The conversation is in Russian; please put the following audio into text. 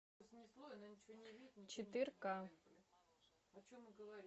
четыре ка